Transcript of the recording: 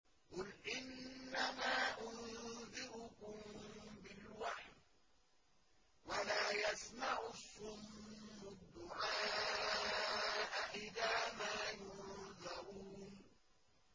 قُلْ إِنَّمَا أُنذِرُكُم بِالْوَحْيِ ۚ وَلَا يَسْمَعُ الصُّمُّ الدُّعَاءَ إِذَا مَا يُنذَرُونَ